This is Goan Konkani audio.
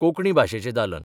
कोंकणी भाशेचें दालन.